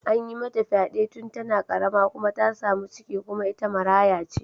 An yi mata fyade tun tana karama kuma ta samu ciki kuma ita maraya ce.